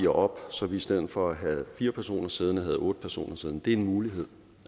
op så vi i stedet for at have fire personer siddende havde otte personer siddende det er en mulighed